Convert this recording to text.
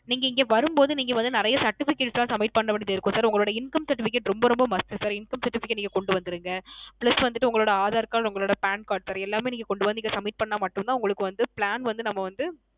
நீங்க இங்க வரும் போது நிறைய Certificate லாம் Submit பண்ண வேண்டியது இருக்கும் Sir Income Certificate ரொம்ப ரொம்ப Must Sir Income Certificate நீங்க கொண்டு வந்துடுங்க plus வந்து உங்களோட Aadhar Card உங்களோட Pan Cardsir எல்லாமே கொண்டு வந்து இங்க Submit பண்ணா மட்டும் தான் உங்களுக்கு Plan வந்து நம்ம வந்து